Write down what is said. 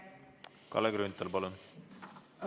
Kalle Grünthal, palun!